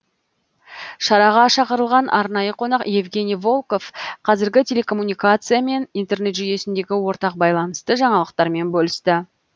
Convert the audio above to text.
шараға шақырылған арнайы қонақ евгений волков қазіргі телекоммуникация мен интернет жүйесіндегі ортақ байланысты жаңалықтармен бөлісті